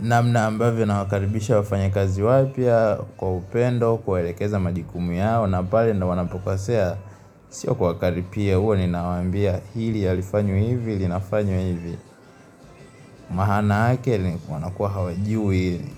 Namna ambavyo nawakaribisha wafanyakazi wapya, kwa upendo, kuwaelekeza majukumu yao, na pale ndo wanapokosea, sio kwa wakaripia huwa ninawaambia hili halifanywi hivi, linafanywa hivi, maana yake ni wanakuwa hawajui hili.